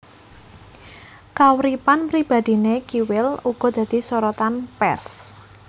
Kauripan pribadhiné Kiwil uga dadi sorotan pers